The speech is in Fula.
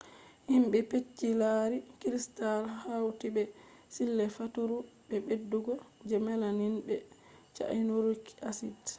himbe bincike lari crystals hauti be sille faturu be beddugo je melamine be cyanuric acid